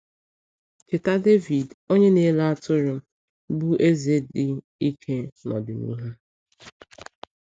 Cheta Dẹvid, onye na-ele atụrụ, bụ́ eze dị ike n’ọdịnihu.